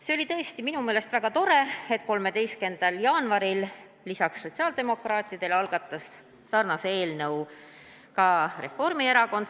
See oli minu meelest tõesti väga tore, et 13. jaanuaril lisaks sotsiaaldemokraatidele algatas sarnase eelnõu ka Reformierakond.